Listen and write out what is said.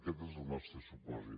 aquest és el nostre supòsit